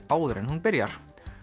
áður en hún byrjar